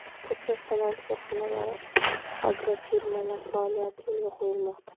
Ko‘plab sanoat korxonalari, agrofirmalar faoliyati yo‘lga qo‘yilmoqda.